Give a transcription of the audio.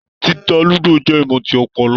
Títà ludo jẹ ìmọ tí ọpọlọ.